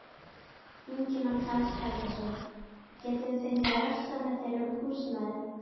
Ingimar Karl Helgason: Getum við fengið að rölta með þér um húsnæðið?